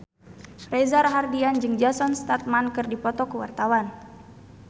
Reza Rahardian jeung Jason Statham keur dipoto ku wartawan